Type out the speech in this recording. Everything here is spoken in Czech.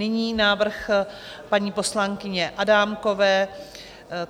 Nyní návrh paní poslankyně Adámkové.